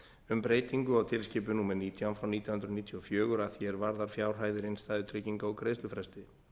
um breytingu á tilskipun númer nítján frá nítján hundruð níutíu og fjögur að því er varðar fjárhæðir innstæðutrygginga og greiðslufresti